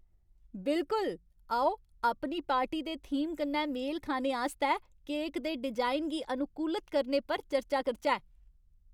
बिलकुल! आओ अपनी पार्टी दे थीम कन्नै मेल खाने आस्तै केक दे डिजाइन गी अनुकूलत करने पर चर्चा करचै।